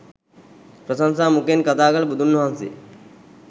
ප්‍රශංසා මුඛයෙන් කථා කළ බුදුන්වහන්සේ